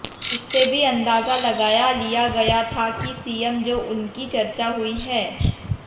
इससे भी अंदाजा लगाया लिया गया था कि सीएम जो उनकी चर्चा हुई है